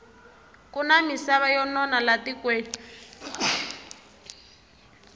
kuna misava yo nona la tikweni